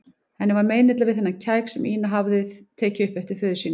Henni var meinilla við þennan kæk sem Ína hafði tekið upp eftir föður sínum.